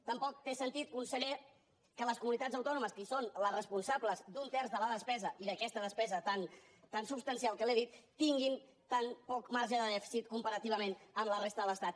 tampoc té sentit conseller que les comunitats autònomes que són les responsables d’un terç de la despesa i d’aquesta despesa tan substancial que li he dit tinguin tan poc marge de dèficit comparativament amb la resta de l’estat